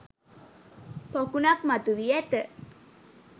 පොකුණක් මතු වී ඇත.